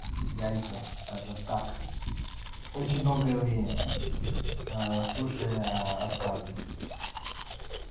яйца скажем так очень долгое время слушая отказы